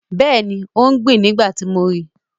Yes, she was planting when I saw her